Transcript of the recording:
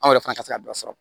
Anw yɛrɛ fana ka se ka dɔ sɔrɔ